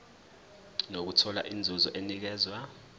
nokuthola inzuzo enikezwa